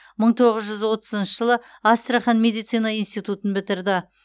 мың тоғыз жүз отызыншы жылы астрахан медицина институтын бітірді